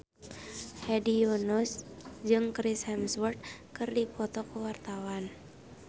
Hedi Yunus jeung Chris Hemsworth keur dipoto ku wartawan